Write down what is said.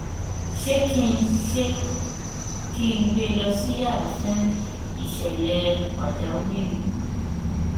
ṣé kí ṣé kí n gbe lọ sí yàrà fún ìṣẹlẹ pàjáwìrì